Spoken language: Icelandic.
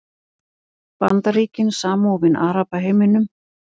Bandaríkin samofin Arabaheiminum